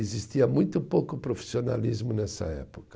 Existia muito pouco profissionalismo nessa época.